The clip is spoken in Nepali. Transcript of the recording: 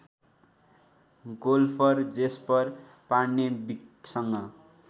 golfer Jesper पार्नेविकसँग